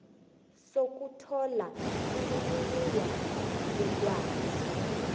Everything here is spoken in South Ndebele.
sokuthola imininingwana yelwazi